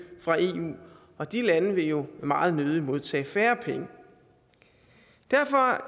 fra eu og de lande vil jo meget nødig modtage færre penge derfor